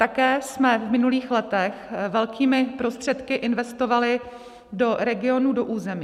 Také jsme v minulých letech velkými prostředky investovali do regionů, do území.